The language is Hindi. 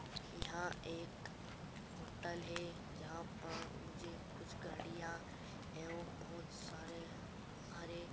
यहाँ एक होटल है जहाँ पर मुझे कुछ गाड़ियां एवं बहुत सारे हरे --